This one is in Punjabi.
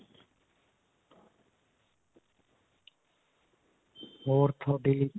ਹੋਰ ਤੁਹਾਡੀ